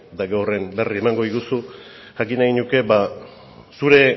eta gero horren berri emango diguzu jakin nahiko nuke zure